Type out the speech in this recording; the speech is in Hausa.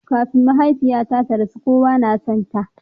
Kafin mahaifiyarta ta rasu, kowa na sonta.